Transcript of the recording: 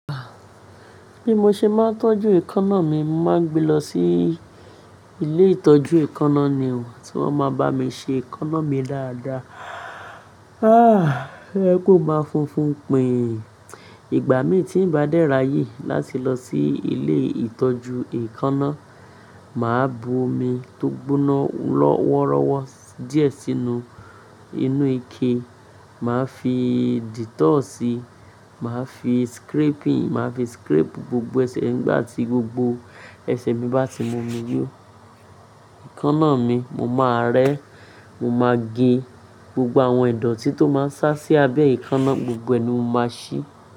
Bí mo ṣe máa ń tọ́jú èékánná mi, mo màá n gbé lọ sí ilé ìtọ́jú èékánná ni o, tí wọ́n ma bá mi ṣe èékánná mi dáadáa. O yẹ ko máa funfun pin-in ìgbà mí tí ń bá dẹ́ r'ye láti lọ sí ilé ìtọ́jú èékánná, màá bu omi tó gbóná lọ́wọ́rọ́wọ́ díẹ̀ sínú inú ike, màá fi dettol si, màá fi scraping, màá fi scrape gbogbo ẹsẹ̀ nígbà tí gbogbo ẹsẹ̀ mi bá ti mumi yo ẹ̀ékánná mi, mo máa rẹ́, mo máa gé gbogbo àwọn ìdọ̀tí tó máa ń sá sí abẹ́ ẹ̀ékánná, gbogbo ẹ ni mo máa ṣí.